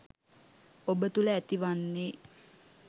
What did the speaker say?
ඔබ තුළ ඇතිවෙන්නෙ.